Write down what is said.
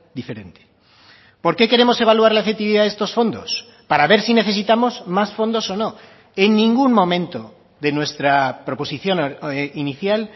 diferente por qué queremos evaluar la efectividad de estos fondos para ver si necesitamos más fondos o no en ningún momento de nuestra proposición inicial